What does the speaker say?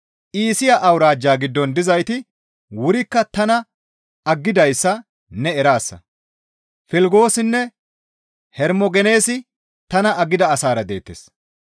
Iisiya awuraajja giddon dizayti wurikka tana aggidayssa ne eraasa; Filgoosinne Hermogeneesi tana aggida asaara deettes.